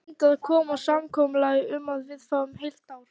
Reyndu að komast að samkomulagi um að við fáum heilt ár.